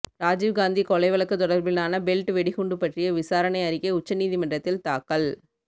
ராஜீவ் காந்தி கொலை வழக்கு தொடர்பிலான பெல்ட் வெடிகுண்டு பற்றிய விசாரணை அறிக்கை உச்சநீதிமன்றத்தில் தாக்கல்